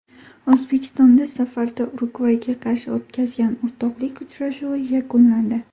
O‘zbekiston safarda Urugvayga qarshi o‘tkazgan o‘rtoqlik uchrashuvi yakunlandi.